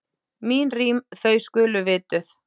Mín rím, þau skulu vituð.